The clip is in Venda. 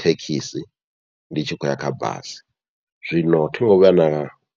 thekhisi ndi tshi khou ya kha basi, zwino thingo vhuya na